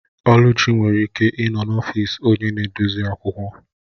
Oluchi nwere ike ịnọ n'ọfịs onye na-edozi akwụkwọ